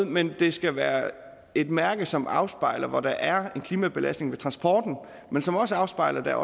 men det skal være et mærke som afspejler hvor der er en klimabelastning ved transporten men som også afspejler at der er